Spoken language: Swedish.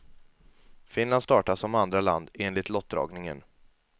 Finland startar som andra land, enligt lottdragningen.